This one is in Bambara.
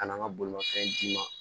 Ka na n ka bolimafɛn d'i ma